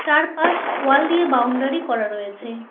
চারপাশ ওয়াল দিয়ে বাউন্ডারি করা রয়েছে।